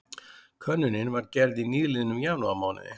Könnunin var gerð í nýliðnum janúarmánuði